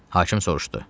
Hakim soruşdu: